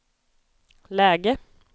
läge